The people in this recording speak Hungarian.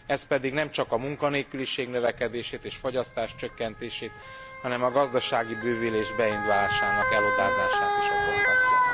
Ez pedig nemcsak a munkanélküliség növekedését és a fogyasztás csökkenését, hanem a gazdasági bővülés beindulásának elodázását is okozhatja.